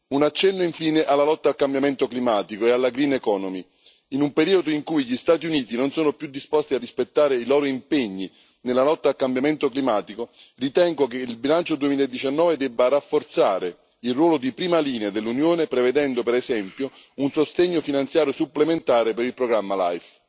Un accenno infine alla lotta al cambiamento climatico e alla green economy in un periodo in cui gli Stati Uniti non sono più disposti a rispettare i loro impegni nella lotta al cambiamento climatico, ritengo che il bilancio 2019 debba rafforzare il ruolo di prima linea dell'Unione, prevedendo per esempio un sostegno finanziario supplementare per il programma LIFE.